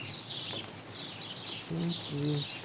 синьцзи